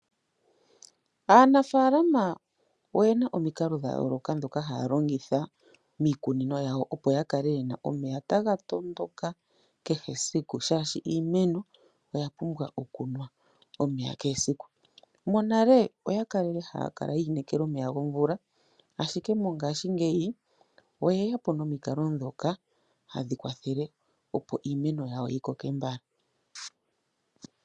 Aanafalama oye na omikalo dha yooloka ndhoka haya longitha miikunino yawo, opo ya kale ye na omeya taga tondoka kehe esiku shaashi iimeno oya pumbwa okunwa omeya kehe esiku. Monale oya li haya kala yi inekela omeya gomvula, ashike mongashingeyi oye ya po nomikalo ndhoka hadhi kwathele, opo iimeno yawo yi koke mbala.